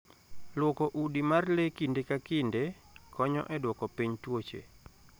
Lwoko udi mar le kinde ka kinde, konyo e duoko piny tuoche.